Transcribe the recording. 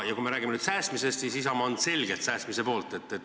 Kui me räägime nüüd säästmisest, siis Isamaa on selgelt säästmise poolt.